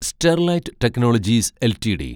Sterlite Technologies LTD